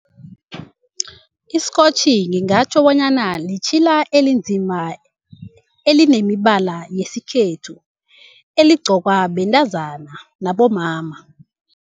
Isikhotjhi ngingatjho bonyana litjhila elinzima elinemibala yesikhethu, eligqokwa bentazana nabomama.